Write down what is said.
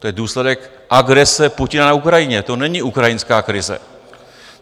To je důsledek agrese Putina na Ukrajině, to není ukrajinská krize.